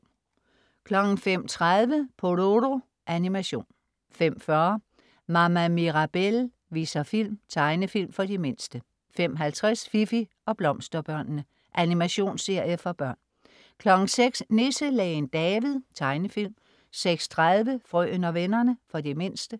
05.30 Pororo. Animation 05.40 Mama Mirabelle viser film. Tegnefilm for de mindste 05.50 Fifi og Blomsterbørnene. Animationsserie for børn 06.00 Nisselægen David. Tegnefilm 06.30 Frøen og vennerne. For de mindste